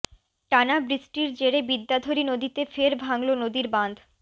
টানা বৃষ্টির জেরে বিদ্যাধরী নদীতে ফের ভাঙল নদীর বাঁধ